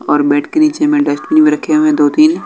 और बेड के नीचे मे डस्टबिन भी रखे हुए हैं दो तीन--